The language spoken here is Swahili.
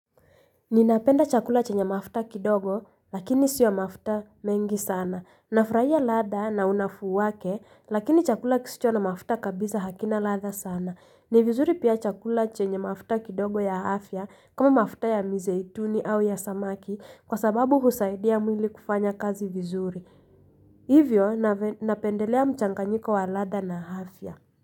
Ninapenda chakula chenye mafuta kidogo lakini sio mafuta mengi sana. Nafurahia ladha na unafuu wake lakini chakula kisicho na mafuta kabisa hakina ladha sana. Ni vizuri pia chakula chenye mafuta kidogo ya afya kama mafuta ya mizeituni au ya samaki kwa sababu husaidia mwili kufanya kazi vizuri. Hivyo napendelea mchanganyiko wa ladha na afya.